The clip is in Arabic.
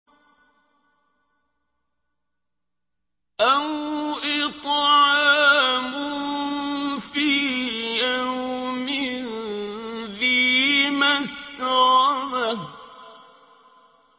أَوْ إِطْعَامٌ فِي يَوْمٍ ذِي مَسْغَبَةٍ